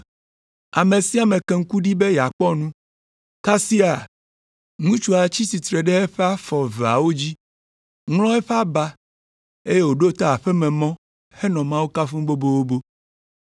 Ame sia ame ke ŋku ɖi be yeakpɔ nu, kasia, ŋutsua tsi tsitre ɖe eƒe afɔ eveawo dzi, ŋlɔ eƒe aba, eye wòɖo ta aƒe me henɔ Mawu kafum bobobo.